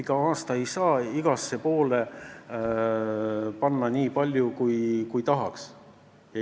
Igal aastal ei saa igale poole panna nii palju raha, kui tahaks.